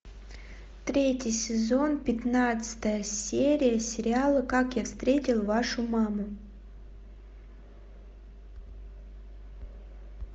третий сезон пятнадцатая серия сериала как я встретил вашу маму